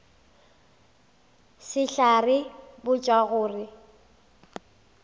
sehlare se tla botšwa gore